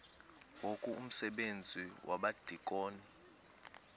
ngoku umsebenzi wabadikoni